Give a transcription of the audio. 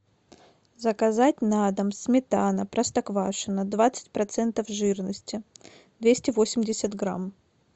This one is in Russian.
заказать на дом сметана простоквашино двадцать процентов жирности двести восемьдесят грамм